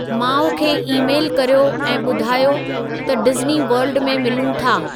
माउ खे ई-मेलु कर्यो ऐं ॿुधायो त डिज़्नी वर्ल्ड में मिलूं था